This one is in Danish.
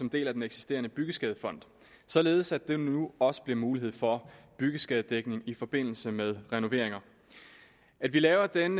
deler den eksisterende byggeskadefond således at der nu også bliver mulighed for byggeskadedækning i forbindelse med renoveringer at vi laver den